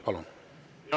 Palun!